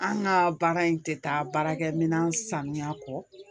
An ka baara in tɛ taa baarakɛminɛn sanuya kɔ